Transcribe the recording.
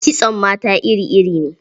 Kitson mata iri-iri ne.